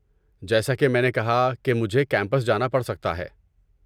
جیسا کہ میں نے کہا کہ مجھے کیمپس جانا پڑ سکتا ہے۔